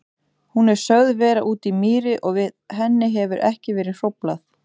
Hún er sögð vera úti í mýri og við henni hefur ekki verið hróflað.